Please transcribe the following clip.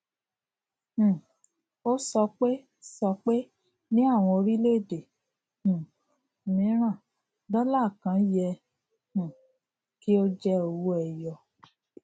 um o sọpe sọpe ni àwọn orílẹ èdè um miran dola kàn yẹ um kí o je owó ẹyọ